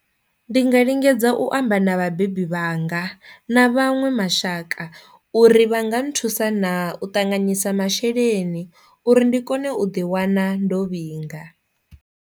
Ndi nga lingedza u amba na vhabebi vhanga na vhaṅwe mashaka uri vha nga nthusa na u ṱanganyisa masheleni uri ndi kone u ḓi wana ndo vhinga.